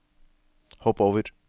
hopp over